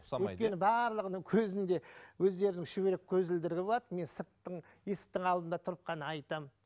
өйткені барлығының көзінде өздерінің шүберек көзілдірлігі болады мен сырттың есіктің алдында тұрып қана айтамын